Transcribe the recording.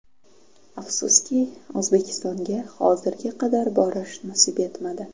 Afsuski, O‘zbekistonga hozirga qadar borish nasib etmadi.